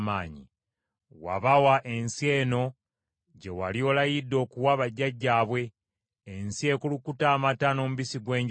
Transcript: Wabawa ensi eno gye wali olayidde okuwa bajjajjaabwe, ensi ekulukuta amata n’omubisi gw’enjuki.